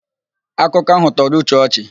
Akụkọ áhụ̀ tọrọ Uche ọchị.